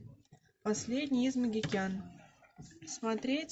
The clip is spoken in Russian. последний из магикян смотреть